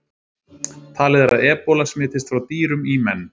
Talið er að ebóla smitist frá dýrum í menn.